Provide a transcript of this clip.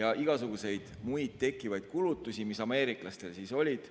ja igasuguseid muid kulutusi, mis ameeriklastel olid.